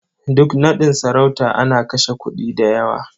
Duk naɗin sarauta ana kashe kuɗi da yawa.